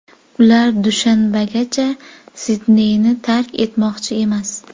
Ular dushanbagacha Sidneyni tark etmoqchi emas.